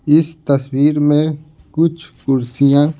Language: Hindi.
इस तस्वीर में कुछ कुर्सियां--